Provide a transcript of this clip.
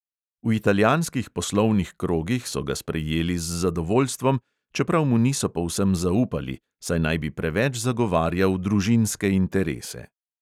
V italijanskih poslovnih krogih so ga sprejeli z zadovoljstvom, čeprav mu niso povsem zaupali, saj naj bi preveč zagovarjal družinske interese.